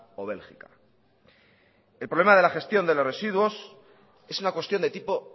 o bélgica el problema de la gestión de los residuos es una cuestión de tipo